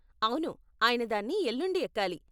అవును, ఆయన దాన్ని ఎల్లుండి ఎక్కాలి.